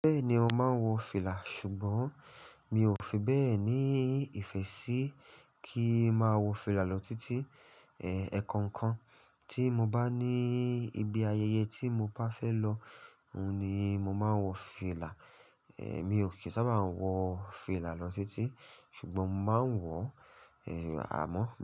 Bẹ́ẹ̀ni, mo máa ń wọ fìlà, ṣùgbọ́n mi ò fi bẹ́ẹ̀ ní ìfẹ́ sí kí máa wọ fìlà lọ títí. E, ẹ̀ẹ̀kan kan tí mo bá ní ibi ayẹyẹ tí mo bá fẹ́ lọ, òun ni mo máa ń wọ fìlà. E, emi ò kí ń sábà wọ fìlà lọ títí, ṣùgbọ́n mo máa ń wọ, e, àmọ́